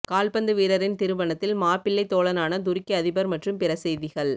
கால்பந்து வீரரின் திருமணத்தில் மாப்பிள்ளை தோழனான துருக்கி அதிபர் மற்றும் பிற செய்திகள்